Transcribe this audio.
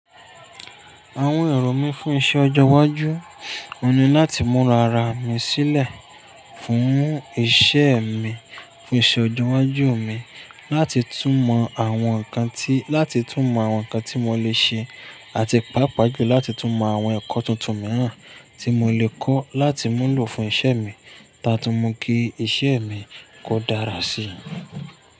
Àwọn èrò mí fún iṣẹ ọjọ́ iwájú, òun ní láti múra ara mi sílẹ̀, fún iṣẹ mi, fún iṣẹ ọjọ iwájú mi, láti tún mọ àwọn nǹkan tí, láti tún mọ àwọn nǹkan tí mo lè ṣe, àti pàápàá jù láti tún mọ àwọn ẹ̀kọ́ tuntun mìíràn tí mo lè kọ̀ láti mú lò fún iṣẹ mi, táa tún mọ kí iṣẹ mi kó dára síi.